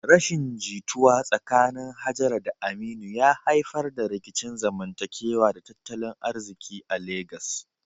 Rashin jituwa tsakanin Hajara da Aminu ya haifar da rikicin zamantakewa da tattalin arziki a Legas.